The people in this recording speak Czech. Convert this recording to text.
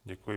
Děkuji.